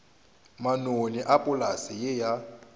manoni a polase ye ya